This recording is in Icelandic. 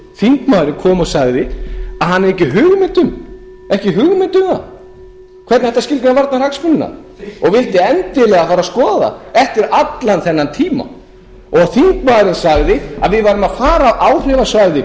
þingmaður kom og sagði að hann hefði ekki hugmynd um það hvernig ætti að skilgreina varnarhagsmunina og vildi endilega fara og skoða þá eftir allan þennan tíma og þingmaðurinn sagði að við værum að fara af áhrifasvæði